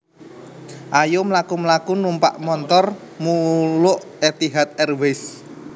Ayo mlaku mlaku numpak montor muluk Etihad Airways